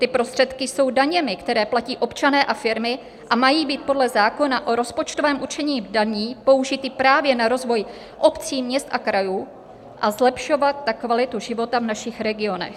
Ty prostředky jsou daněmi, které platí občané a firmy a mají být podle zákona o rozpočtovém určení daní použity právě na rozvoj obcí, měst a krajů a zlepšovat tak kvalitu života v našich regionech.